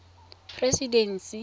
presidency